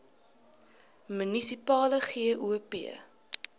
munisipale gop